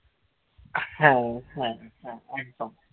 হ্যাঁ হ্যাঁ হ্যাঁ একদম